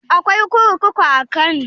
Akwai kurkuku a kano?